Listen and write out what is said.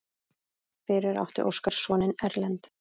Fyrir átti Óskar soninn Erlend.